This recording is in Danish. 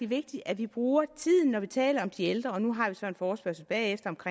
vigtigt at vi bruger tiden når vi taler om de ældre og nu har vi så en forespørgsel bagefter